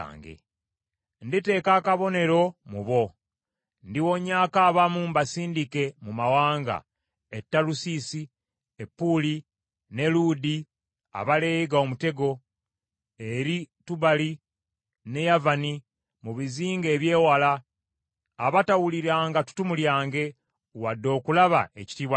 “Nditeeka akabonero mu bo. Ndiwonyaako abamu mbasindike mu mawanga, e Talusiisi, e Puuli , n’e Luudi, abaleega omutego, eri Tubali ne Yavani, mu bizinga eby’ewala, abatawuliranga ttutumu lyange, wadde okulaba ekitiibwa kyange.